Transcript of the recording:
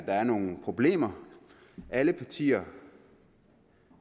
er nogle problemer alle partier